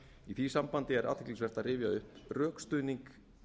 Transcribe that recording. í því sambandi er athyglisvert að rifja upp rökstuðning